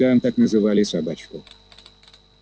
там так называли собачку